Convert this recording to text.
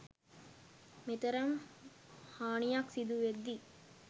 මෙතරම් හානියක් සිදුවෙද්දී